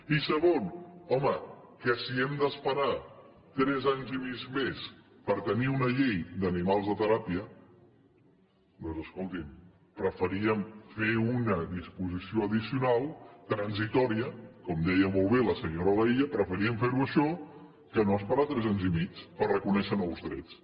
i segon home que si hem d’esperar tres anys i mig més per tenir una llei d’animals de teràpia doncs escolti’m preferíem fer una disposició addicional transitòria com deia molt bé la senyora laïlla preferíem fer ho això que no esperar tres anys i mig per reconèixer nous drets